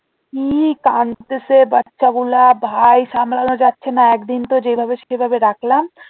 কি কানতেছে বাচ্চা গুলা ভাই সামলানো যাচ্ছে না একদিন তো যেভাবে সেভাবে রাখলাম